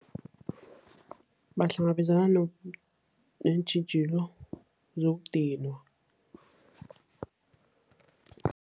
Bahlangabezana neentjhijilo zokudinwa.